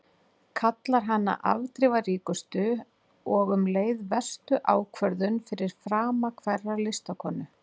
Kallar hana afdrifaríkustu og um leið verstu ákvörðun fyrir frama hverrar listakonu.